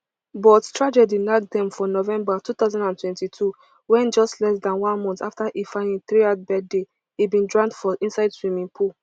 but tragedy nack dem for november two thousand and twenty-two wen just less dan one month afta ifeanyi threerd birthday e bin drown for inside swimming pool